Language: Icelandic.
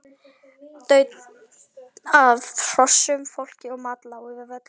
Daunn af hrossum, fólki og mat lá yfir völlunum.